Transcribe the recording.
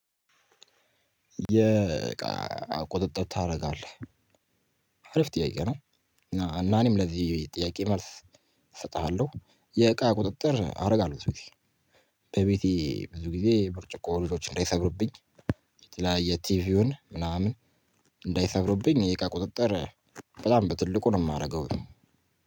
የእቃ ቁጥጥር ታረጋለህ አሪፍ ጥያቄ ነው። እና ለዚህ ጥያቄ መልስ እሰጥሃለሁ። የእቃ ቁጥጥር አደርጋለሁ ሴፍሽ። በቤቴ ብዙ ጊዜ ብርጭቆ ልጆች እንዳይሰብሩብኝ። የተለያየ ቲቪውን ምናምን። እንዳይሰብሩብኝ ቁጥጥር በጣም በትልቁ ነው ማረገው።